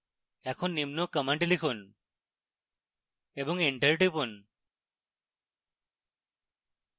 এখন নিম্ন command লিখুন এবং enter টিপুন